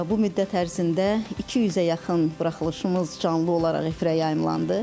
Bu müddət ərzində 200-ə yaxın buraxılışımız canlı olaraq efirə yayımlandı.